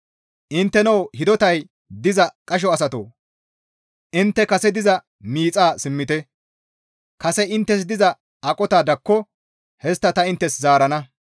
Intteno hidotay diza qasho asatoo! Intte kase diza miixan simmite; kase inttes diza aqota dakko histta ta inttes zaarana.